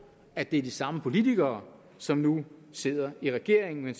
at det er de samme politikere som nu sidder i regeringen